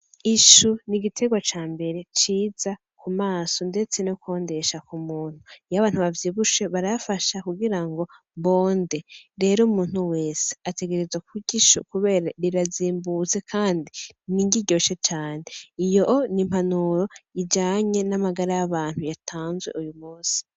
ishu ni igitegwa cambere ciza kumaso ndetse kwondesha kumuntu iyo abantu bavyibushe barayafasha kugira ngo bonde rero umuntu wese ategerezwa kurya ishu kubera rirazimbutse kandi ni indya iryoshe cane iyoo ni impanuro ijanye namagara yatanzwe uyumisi